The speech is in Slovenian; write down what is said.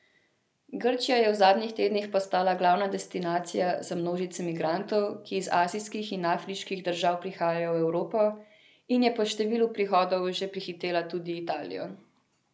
Grčija je v zadnjih tednih postala glavna destinacija za množice migrantov, ki iz azijskih in afriških držav prihajajo v Evropo, in je po številu prihodov že prehitela tudi Italijo.